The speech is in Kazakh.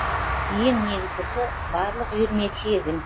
ең негізгісі барлық үйірме тегін